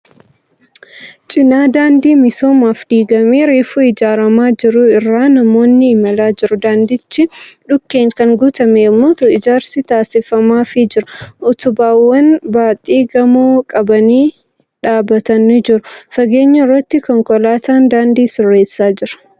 Cinaa daandii misoomaaf diigamee reefu ijaaramaa jiru irra namoonni imalaa jiru. Daandichi dhukkeen kan guutame yemmuu ta'u ijaarsi taasifamaafii jira. Utubaawwan baaxii gamoo qabanii dhabatan ni jiru. Fageenya irratti konkolaataan daandii sirreessaa jira.